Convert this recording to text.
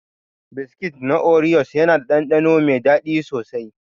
Biskit na oriyos yana da ɗanɗano mai daɗi sosai.